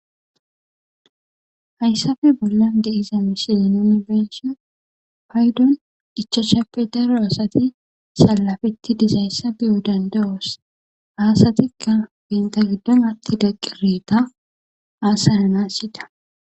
Haysape bolan di'za missilen nuni be'ishin paydon ichashappe daro asati salafeti dizaysi be'os danda'os haysatikka banta gidon atida qireta hasa'anas yida.